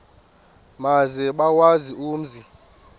maze bawazi umzi